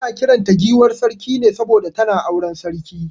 Ana kiran ta giwar Sarki ne saboda tana auren sarki.